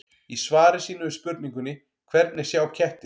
Í svari sínu við spurningunni Hvernig sjá kettir?